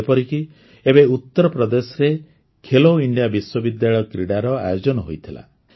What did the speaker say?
ଯେପରିକି ଏବେ ଉତ୍ତରପ୍ରଦେଶରେ ଖେଲୋ ଇଣ୍ଡିଆ ବିଶ୍ୱବିଦ୍ୟାଳୟ କ୍ରୀଡ଼ାର ଆୟୋଜନ ହୋଇଥିଲା